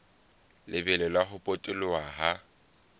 lebelo la ho potoloha ha